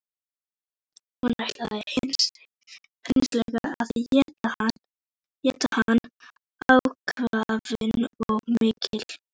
Hún ætlar hreinlega að éta hann, ákafinn er svo mikill.